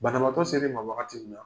Banamatɔ selen e ma wagati minna